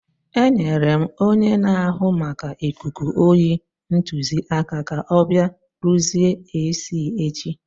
Enyere m onye na-ahụ maka ikuku oyi ntụziaka ka ọ bịa rụzie AC echi.